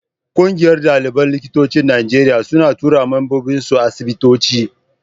Ƙungiyar ɗaliban likitocin Najeriya suna tura mambobinsu asibitoci.